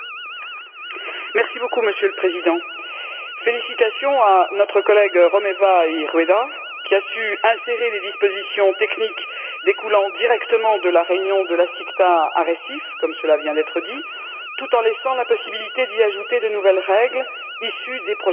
Monsieur le Président, félicitations à notre collègue Romeva i Rueda, qui a su insérer les dispositions techniques découlant directement de la réunion de la CICTA à Recife, comme cela vient d'être dit, tout en laissant la possibilité d'y ajouter de nouvelles règles issues des prochaines négociations.